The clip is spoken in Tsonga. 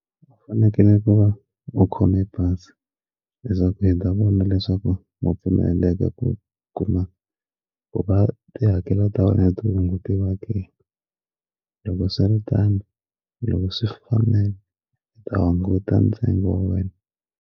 U fanekele ku va u khome pasi leswaku hi ta vona leswaku mo pfumeleka ku kuma ku va ti hakela hungutiwa ke loko swiritano loko swi fanele u ta hunguta ntsengo wa wena.